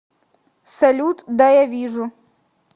салют да я вижу